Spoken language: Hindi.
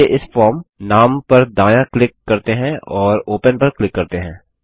चलिए इस फॉर्म नाम पर दायाँ क्लिक करते हैं और ओपन पर क्लिक करते हैं